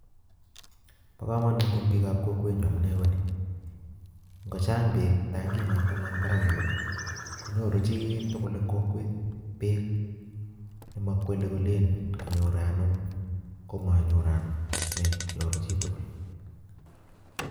Bo komonut eng' biikab kokwet nyuu, amunee ko nii. Ng'ochang' beek tankit notono eng' barak yuun, konyoru chiitugul eng' kokwet beek, ne makwele kolen kanyor anum, komanyor anum. Nyoru chii tugul